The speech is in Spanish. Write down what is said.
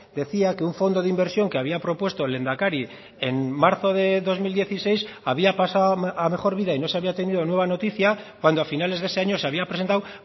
decía que un fondo de inversión que había propuesto el lehendakari en marzo de dos mil dieciséis había pasado a mejor vida y no se había tenido nueva noticia cuando a finales de ese año se había presentado